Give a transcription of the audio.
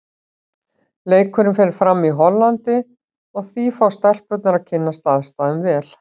Leikurinn fer fram í Hollandi og því fá stelpurnar að kynnast aðstæðum vel.